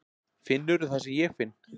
Finnurðu það sem ég finn?